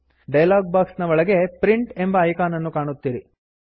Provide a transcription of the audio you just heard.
dialog box ನ ಒಳಗೆ print print ಎಂಬ ಐಕಾನ್ ನನ್ನು ಕಾಣುತ್ತೀರಿ